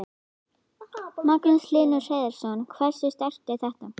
Magnús Hlynur Hreiðarsson: Hversu sterkt er þetta?